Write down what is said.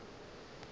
tla be e le ge